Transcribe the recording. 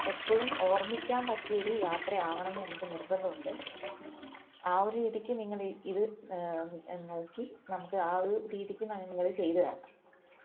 എപ്പോഴും ഓർമ്മിക്കാൻ പറ്റിയ ഒരു യാത്രയാവണം ന്ന് ഞങ്ങക്ക് നിർബന്ധമുണ്ട് ആ ഒരു രീതിക്ക് നിങ്ങൾ ഇത് ഏർ നോക്കി നമുക്ക് ആ ഒരു രീതിക്ക് നിങ്ങള് ചെയ്തു തരണം